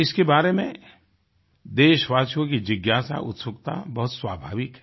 इसके बारे में देशवासियों की जिज्ञासा उत्सुकता बहुत स्वाभाविक है